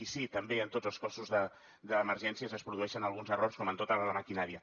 i sí també en tots els cossos d’emergències es produeixen alguns errors com en tota la maquinària